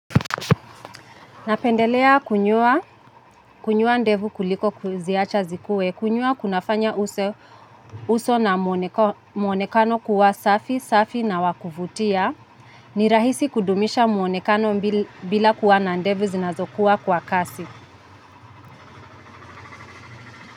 Napendelea kunyoa, ndevu kuliko kuziacha zikue, kunyoa kunafanya uso na muonekano kuwa safi, safi na wa kuvutia. Ni rahisi kudumisha muonekano bila kuwa na ndevu zinazokuwa kwa kasi.